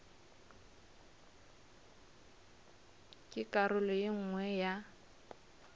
ke karolo ye nngwe ya